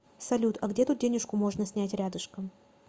салют а где тут денежку можно снять рядышком